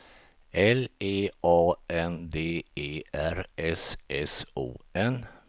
L E A N D E R S S O N